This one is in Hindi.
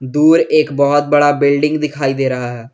दूर एक बहोत बड़ा बिल्डिंग दिखाई दे रहा है।